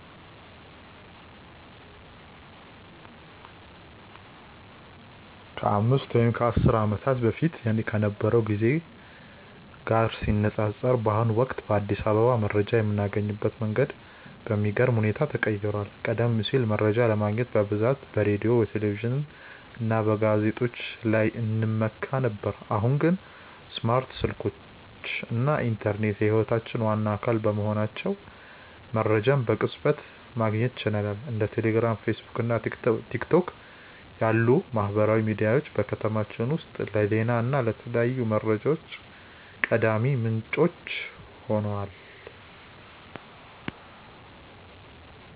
ከአምስት ወይም ከአስር ዓመታት በፊት ከነበረው ጊዜ ጋር ሲነፃፀር፣ በአሁኑ ወቅት በአዲስ አበባ መረጃ የምናገኝበት መንገድ በሚገርም ሁኔታ ተቀይሯል። ቀደም ሲል መረጃ ለማግኘት በብዛት በሬዲዮ፣ በቴሌቪዥን እና በጋዜጦች ላይ እንመካ ነበር፤ አሁን ግን ስማርት ስልኮች እና ኢንተርኔት የህይወታችን ዋና አካል በመሆናቸው መረጃን በቅጽበት ማግኘት ችለናል። እንደ ቴሌግራም፣ ፌስቡክ እና ቲክቶክ ያሉ ማህበራዊ ሚዲያዎች በከተማችን ውስጥ ለዜና እና ለተለያዩ መረጃዎች ቀዳሚ ምንጮች ሆነዋል።